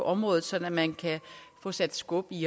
området sådan at man kan få sat skub i